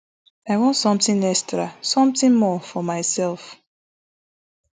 i want somtin extra somtin more for myself